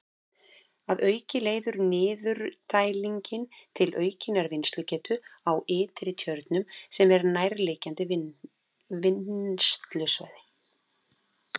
Að auki leiðir niðurdælingin til aukinnar vinnslugetu á Ytri-Tjörnum sem er nærliggjandi vinnslusvæði.